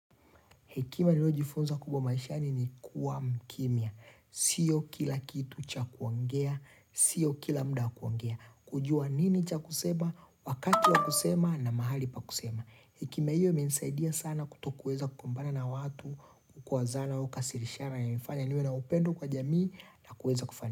Hekima niliyojifunza kubwa maishani ni kuwa mkimia. Sio kila kitu cha kuongea. Sio kila muda wa kuongea. Kujua nini cha kusema? Wakati wa kusema na mahali pa kusema. Hekima hiyo imensaidia sana kutokweza kupambana na watu. Kukwazana au kasirishana yanifanya niwe na upendo kwa jamii na kuweza kufanya.